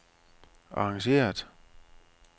arrangeret